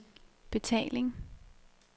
betaling